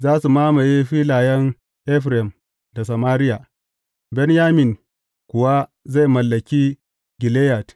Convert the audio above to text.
Za su mamaye filayen Efraim da Samariya, Benyamin kuwa zai mallaki Gileyad.